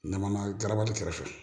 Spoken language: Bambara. Ɲamana garabali kɛrɛfɛ